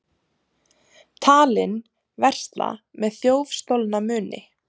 Talinn versla með þjófstolna muni